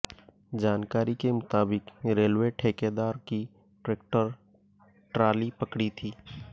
जानकारी के मुताबिक रेलवे ठेकेदार की ट्रैक्टर ट्राली पकड़ी थी